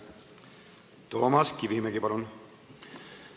Toomas Kivimägi, palun!